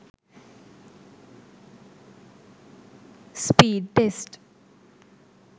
speedtest